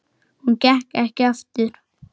Hún gekk ekki aftur.